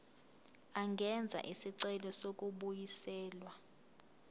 angenza isicelo sokubuyiselwa